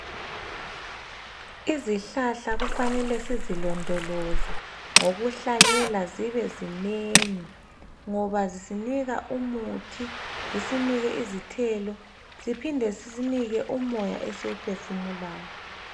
Izihlahla kufanele sizilondoloze ngokuhlanyela zibe zinengi ngoba zisinika umuthi, zisinike izithelo, ziphinde zisinike umoya esimuphefumulayo.